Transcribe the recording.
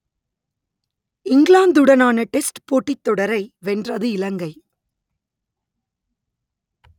இங்கிலாந்துடனான test போட்டித் தொடரை வென்றது இலங்கை